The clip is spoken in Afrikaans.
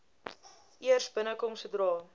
eers binnekom sodra